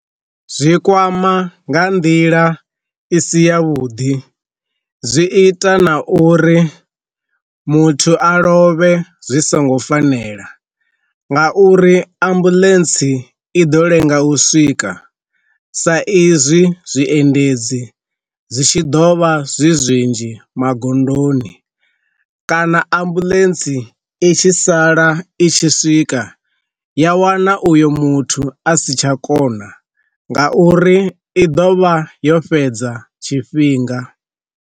Zwi kwama nga nḓila i si ya vhuḓi zwi ita na uri muthu a lovhe zwi songo fanela nga uri ambuḽentsi i ḓo lenga u swika sa izwi zwiendedzi zwi tshi ḓovha zwi zwinzhi magondoni, kana ambulantsi i tshi sala i tshi swika, ya wana uyo muthu a si tsha kona nga uri i ḓovha yo fhedza tshifhinga.